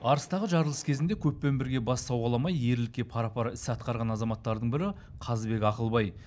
арыстағы жарылыс кезінде көппен бірге бас сауғаламай ерлікке пара пар іс атқарған азаматтардың бірі қазыбек ақылбай